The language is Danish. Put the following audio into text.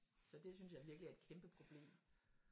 Så det synes jeg virkelig er et kæmpe problem